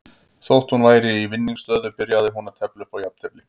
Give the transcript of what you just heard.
Þótt hún væri í vinningsstöðu byrjaði hún að tefla upp á jafntefli.